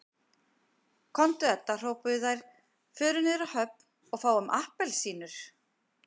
Komdu Edda hrópuðu þær, förum niður á höfn og fáum APPELSÍNUR